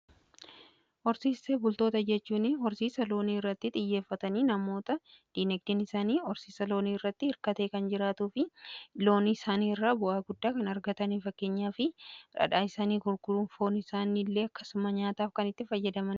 Horsiise bultoota jechuun horsiisa loonii irratti xiyyeeffatanii namoota diinagdeen isaanii horsiisa loonii irratti hirkatee kan jiraatuu fi loonii isaanii irraa bu'aa guddaa kan argatanidha. Fakkeenyaaf dhadhaa isaanii gurgurun, foon isaanii illee akkasuma nyaataaf kan itti fayyadamanidha.